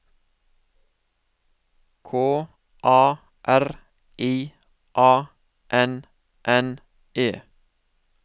K A R I A N N E